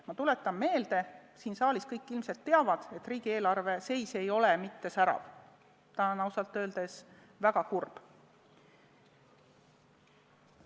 Ma tuletan meelde ja siin saalis kõik ilmselt teavad niigi, et riigieelarve seis ei ole mitte särav, see on ausalt öeldes väga kurb.